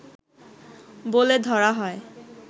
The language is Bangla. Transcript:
বলে ধরা হয়